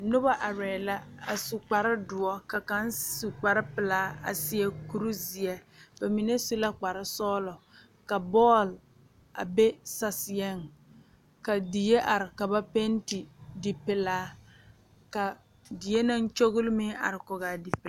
Noba are la a su kpare doɔ ka kaŋ su kpare pelaa a seɛ kuri ziɛ bamine su kpare sɔglɔ ka bɔl a be saseɛ ka die are ka ba penti di pelaa ka die naŋ kyɔle meŋ are kɔŋ a die pelaa.